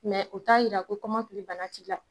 o t'a jira ko kɔmɔkili bana t'i la